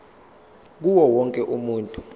kuwo wonke umuntu